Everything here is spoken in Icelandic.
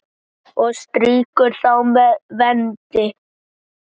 og strýkir þá með vendi.